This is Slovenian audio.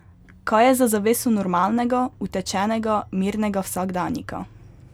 Kaj je za zaveso normalnega, utečenega, mirnega vsakdanjika?